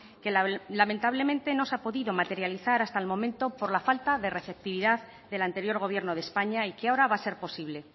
que lamentablemente no se ha podido materializar hasta el momento por la falta de receptividad del anterior gobierno de españa y que ahora va a ser posible